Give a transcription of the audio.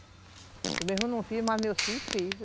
Eu mesmo não fiz, mas meu filho fez.